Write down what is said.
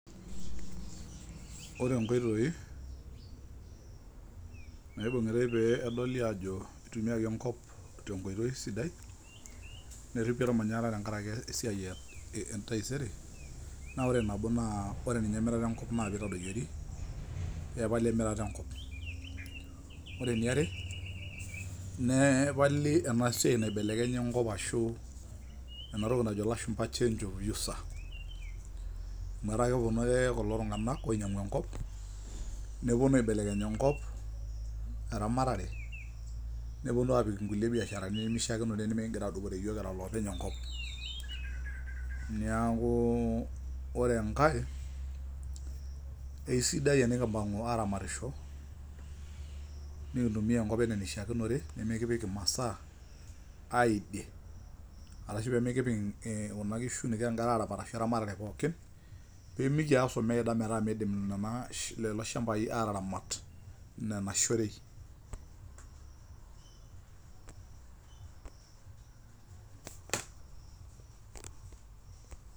Ore inkoitoi, naibung'itai peyie edoli aajo eitumiiyaki enko neripi olmanyara tenkaraki entaisere. Naa ore nabo naa emirata enkop naaji eitadoyiori, pee epali emirata enkop. Ore ene are, nepali ena siai naibelekenyi enkop arashu ena toki njo ilashumba change of user. Amu etaa epuonu ake kulo tung'anak ainyang'u enkop, nepuonu aibelekeny enkop, eramatare, nepuonu aapik inkulie biasharani nemeishaakinore, nemeking'ira iyiok adupore kira iloopeny enkop. Neaku ore enkai, eiisidai tenikimpang'u aramatisho, nekintumiya enkop anaa eneishaakinore, nemekipik imasaa, aiding', arashu nemekipok kuna kishu neiko eramatere arashu eramatare pookin, pimikias ometaa meidim lelo shambai ataramat nena shorei.